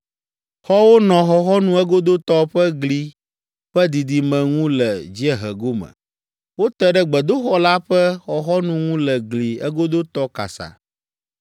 Xɔwo nɔ xɔxɔnu egodotɔ ƒe gli ƒe didime ŋu le dziehe gome; wote ɖe gbedoxɔ la ƒe xɔxɔnu ŋu le gli egodotɔ kasa,